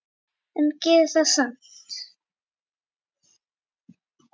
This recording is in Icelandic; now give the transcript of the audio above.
En gerðu það samt.